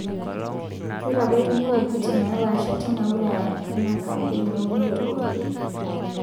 Keitabaikini wuejitin neepaasha tena wilaya ina kaampein eunore oo lkeek